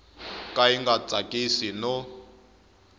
ka yi nga tsakisi no